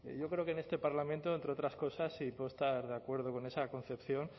yo creo que en este parlamento entre otras cosas y puedo estar de acuerdo con esa concepción